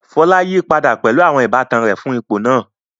Fola yí padà pẹ̀lú àwọn ìbátan rẹ̀ fún ipò náà.